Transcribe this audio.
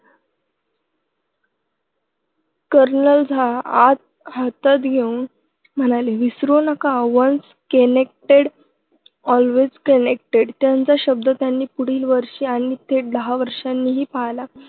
colonel Jha हात हातात घेऊन म्हणाले विसरू नका once connected always connected त्यांचा शब्द त्यांनी पुढील वर्षी आणि थेट दहा वर्षांनीही पाळला